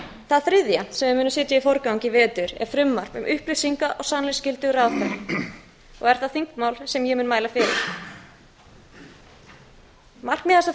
það þriðja sem við munum setja í forgang í vetur er frumvarp um upplýsinga og sannleiksskyldu ráðherra og er það þingmál sem ég mun mæla fyrir markmið